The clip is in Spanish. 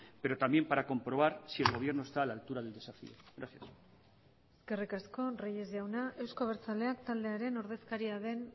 pero también para comprobar si el gobierno está a la altura del desafío gracias eskerrik asko reyes jauna euzko abertzaleak taldearen ordezkaria den